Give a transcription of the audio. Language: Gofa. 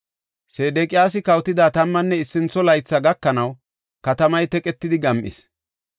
Sedeqiyaasi kawotida tammanne issintho laythi gakanaw, katamay teqetidi gam7is.